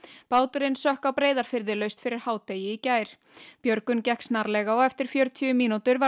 báturinn sökk á Breiðafirði laust fyrir hádegi í gær björgun gekk snarlega og eftir fjörutíu mínútur var